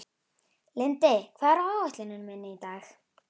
Lindi, hvað er á áætluninni minni í dag?